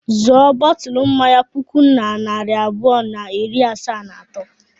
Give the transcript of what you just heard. Zụọ bọtụlụ mmanya puku na narị abụọ na iri asaa na atọ.